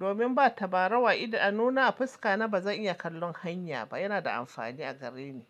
Domin ba tabarau a idanu na a fuska na ba zan iya kallon hanya ba. Yana da amfani a gare ni.